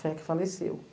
Foi a que faleceu.